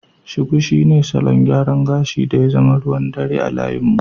Shuku shine salon gyaran gashi da ya zama ruwan dare a layin mu.